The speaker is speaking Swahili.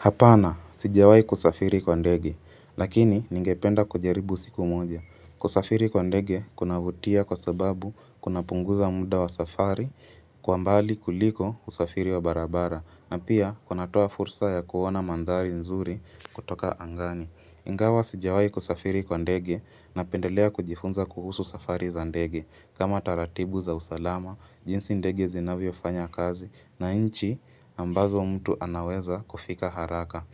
Hapana, sijawai kusafiri kwa ndege, lakini ningependa kujaribu siku moja. Kusafiri kwa ndege, kuna vutia kwa sababu kuna punguza muda wa safari, kwa mbali kuliko usafiri wa barabara, na pia kunatoa fursa ya kuona mandari nzuri kutoka angani. Ingawa sijawai kusafiri kwa ndege, napendelea kujifunza kuhusu safari za ndege, kama taratibu za usalama, jinsi ndege zinavyo fanya kazi na inchi ambazo mtu anaweza kufika haraka.